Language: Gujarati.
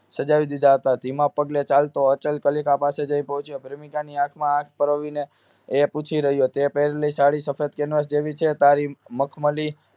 સજાવી દીધા હતા ધીમા પગે ચાલતો અચલ કલિકા પાસે જઈ પહોંચ્યો પ્રેમિકા ની આંખમાં આંખ પોરવીને એ પૂછી રહ્યો હતો પહેરી સાડી સફેદ કેનવાસ જેવી છે તારી મખમલી